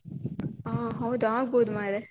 ಒಹ್ ಹೌದ ಆಗ್ಬೋದು ಮರ್ರೆ.